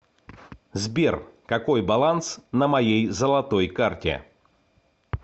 сбер какой баланс на моей золотой карте